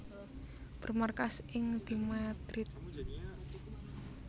Bermarkas ing di Madrid